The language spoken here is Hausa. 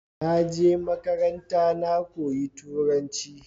naje makaranta na koyi turanci